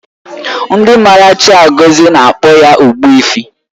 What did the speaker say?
Ndị maara Chiagozie na-akpọ ya Ogbuefi